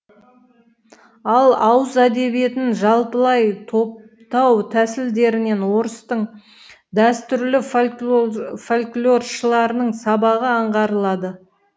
ал ауыз әдебиетін жалпылай топтау тәсілдерінен орыстың дәстүрлі фольклоршыларының сабағы аңғарылады